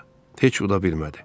Heç uda bilmədi.